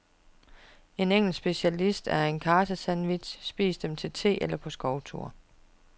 En engelsk specialitet er karsesandwiches, spis dem til the, eller på skovtur.